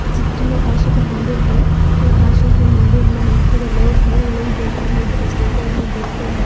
चित्र में काशी का मंदिर है ये काशी के मंदिर में थोड़े लोग हैं वो लोग बैठे हैं इधर चलते हैं देखते हैं।